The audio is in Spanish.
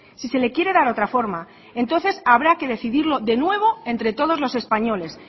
si se le quiere dar otra forma entonces habrá que decidirlo de nuevo entre todos los españoles